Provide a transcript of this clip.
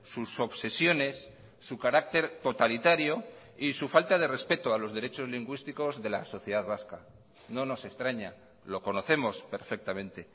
sus obsesiones su carácter totalitario y su falta de respeto a los derechos lingüísticos de la sociedad vasca no nos extraña lo conocemos perfectamente